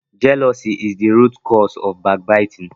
jealousy is the root cause of backbiting.